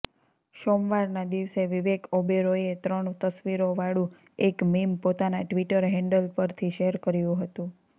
સોમવારના દિવસે વિવેક ઓબેરોયે ત્રણ તસ્વીરોવાળુ એક મીમ પોતાના ટ્વિટર હૈડલ પરથી શેયર કર્યુ હતુ